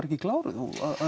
ekki kláruð og